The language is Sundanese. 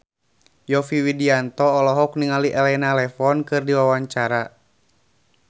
Yovie Widianto olohok ningali Elena Levon keur diwawancara